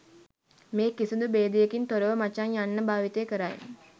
මේ කිසිදු භේදයකින් තොරව මචං යන්න භාවිත කරයි